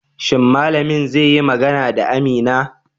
Shin malamin zai yi magana da Amina?